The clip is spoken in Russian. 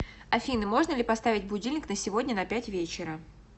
афина можно ли поставить будильник на сегодня на пять вечера